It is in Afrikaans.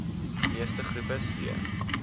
meeste groepe c